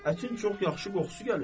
Ətin çox yaxşı qoxusu gəlir.